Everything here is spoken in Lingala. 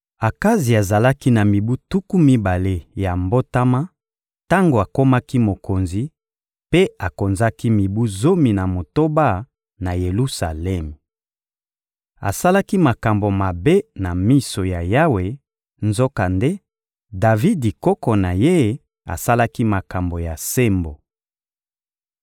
Akazi azalaki na mibu tuku mibale ya mbotama tango akomaki mokonzi, mpe akonzaki mibu zomi na motoba na Yelusalemi. Asalaki makambo mabe na miso ya Yawe; nzokande, Davidi, koko na ye, asalaki makambo ya sembo.